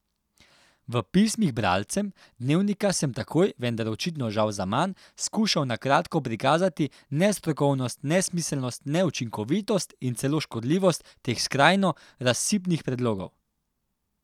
V pismih bralcem Dnevnika sem takoj, vendar očitno žal zaman, skušal na kratko prikazati nestrokovnost, nesmiselnost, neučinkovitost in celo škodljivost teh skrajno razsipnih predlogov.